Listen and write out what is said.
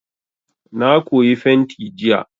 Na koyi fenti jiya.